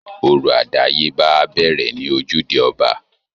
Orò àdáyébá á bẹ̀rẹ̀ ní ojúde ọba